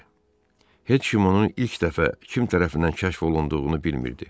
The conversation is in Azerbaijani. Heç kim onun ilk dəfə kim tərəfindən kəşf olunduğunu bilmirdi.